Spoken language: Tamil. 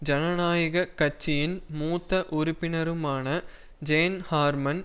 ஜனநாயக கட்சியின் மூத்த உறுப்பினருமான ஜேன் ஹார்மன்